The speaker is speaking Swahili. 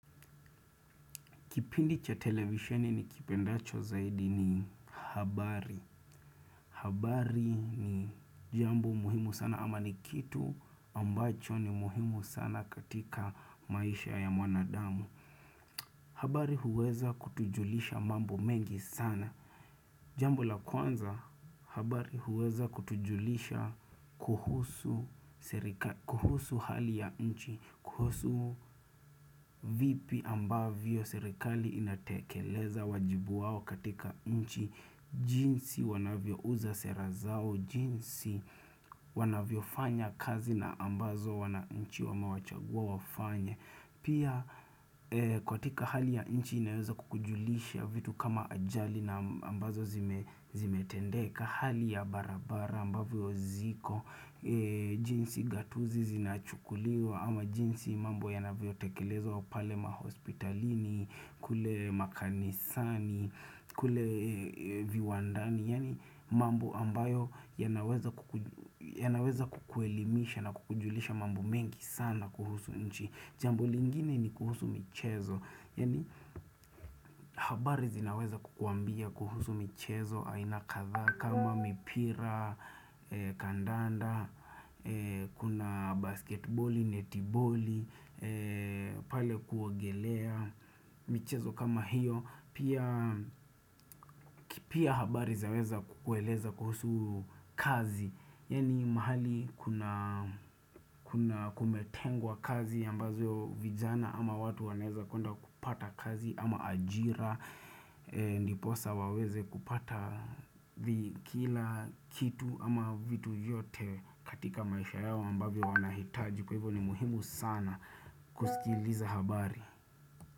Kipindi cha televisheni nikipendacho zaidi ni habari. Habari ni jambo muhimu sana ama ni kitu ambacho ni muhimu sana katika maisha ya mwanadamu. Habari huweza kutujulisha mambo mengi sana. Jambo la kwanza habari huweza kutujulisha kuhusu hali ya nchi, kuhusu vipi ambavyo serikali inatekeleza wajibu wao katika nchi, jinsi wanavyo uza sera zao, jinsi wanavyo fanya kazi na ambazo wananchi wamewachagua wafanye. Pia katika hali ya nchi inaweza kukujulisha vitu kama ajali na ambazo zimetendeka Hali ya barabara ambavyo ziko, jinsi gatuzi zinachukuliwa ama jinsi mambo yanavyo tekelezwa pale mahospitalini kule makanisani, kule viwandani, yaani mambo ambayo yanaweza kukuelimisha na kukujulisha mambo mengi sana kuhusu nchi Jambo lingine ni kuhusu michezo, yaani habari zinaweza kukuambia kuhusu michezo, aina kathaa kama mipira, kandanda, kuna baskeitboli, netiboli, pale kuogelea, michezo kama hiyo, pia habari zinaweza kukueleza kuhusu kazi, yaaani mahali kuna kumetengwa kazi ambazo vijana ama watu wanaeza kunda kupata kazi ama ajira Niposa waweze kupata vikila kitu ama vitu vyote katika maisha yao ambavyo wanahitaji Kwa hivyo ni muhimu sana kusikiliza habari.